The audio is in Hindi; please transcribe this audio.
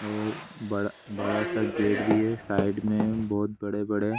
और बड़ा सा गेट भी है साइड में बहुत बड़े-बड़े --